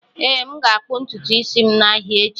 Ee, m ga-akpụ ntutu isi m n'ahịa echi.